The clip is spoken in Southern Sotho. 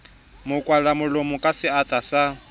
mo kwalamolomo ka seatla sa